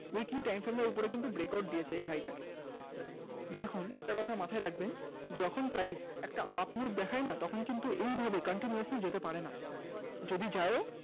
weekly time frame এর উপরে কিন্তু break out দিয়েছে এই high টা দেখুন একটা কথা মাথায় রাখবেন যখন price একটা up move দেখায় না তখন কিন্তু এইভাবে continuously যেতে পারে না যদি যাই ও